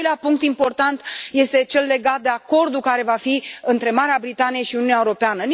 Al doilea punct important este cel legat de acordul care va fi între Marea Britanie și Uniunea Europeană.